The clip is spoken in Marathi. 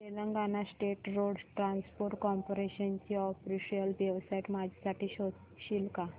Telangana state road transport corporation ची ऑफिशियल वेबसाइट माझ्यासाठी शोधशील का